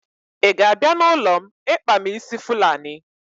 Ị ga-abịa n'ụlọ m ịkpa m ísí Fulani?